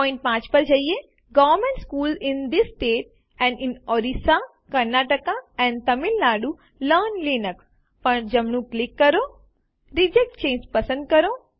point 5 પર જઈને government schools in these states and in Orissa Karnataka and Tamil Nadu learn Linux પર જમણું ક્લિક કરો અને રિજેક્ટ ચાંગે પસંદ કરો